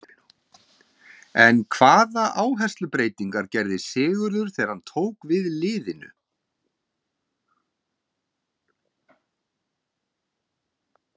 En hvaða áherslubreytingar gerði Sigurður þegar hann tók við liðinu?